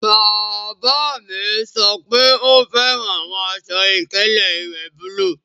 Bàbá mi sọ pé ó fẹ́ran awọn àṣọ-ìkẹlẹ̀ iwẹ́ búlúù.